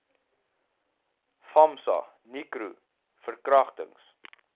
famsa nicro verkragtings